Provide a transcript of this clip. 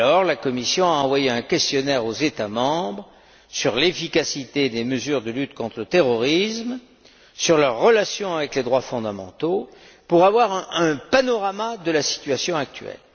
La Commission a envoyé un questionnaire aux États membres sur l'efficacité des mesures de lutte contre le terrorisme, sur leurs relations avec les droits fondamentaux, pour avoir un panorama de la situation actuelle.